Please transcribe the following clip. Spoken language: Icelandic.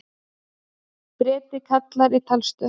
Breti kallar í talstöð.